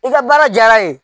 I ka baara diyara ye